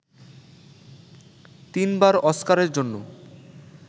তিনবার অস্কারের জন্য